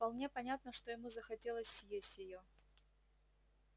вполне понятно что ему захотелось съесть её